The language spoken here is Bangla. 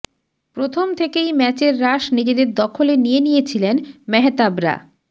প্রথম থেকেই ম্যাচের রাশ নিজেদের দখলে নিয়ে নিয়েছিলেন মেহতাবরা